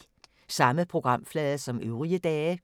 Samme programflade som øvrige dage